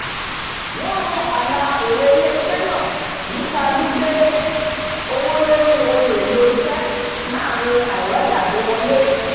"wọ́n rún àlà èrè ilé-isé náà nípa gbígbé owó lórí ohun èlò iṣẹ́ láàrín aìrọ́jàgbéwọlé"